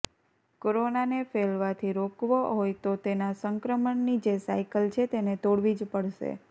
કોરોનાને ફેલવાથી રોકવો હોય તો તેના સંક્રમણની જે સાઈકલ છે તેને તોડવી જ પડશે